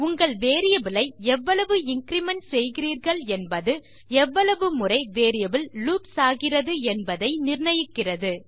உங்கள் வேரியபிள் ஐ எவ்வளவு இன்கிரிமெண்ட் செய்கிறீர்கள் என்பது எவ்வளவு முறை வேரியபிள் லூப்ஸ் ஆகிறது என்பதை நிர்ணயிக்கிறது